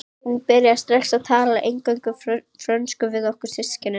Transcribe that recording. Hún byrjaði strax að tala eingöngu frönsku við okkur systkinin.